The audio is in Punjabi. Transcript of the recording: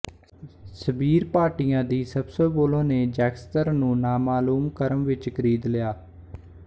ਸਬੀਰ ਭਾਟੀਆ ਦੀ ਸਬਸੇਬੋਲੋ ਨੇ ਜੈਕਸਤਰ ਨੂੰ ਨਾਮਾਲੂਮ ਰਕਮ ਵਿੱਚ ਖਰੀਦ ਲਿਆ